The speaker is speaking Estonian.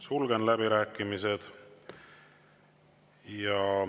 Sulgen läbirääkimised.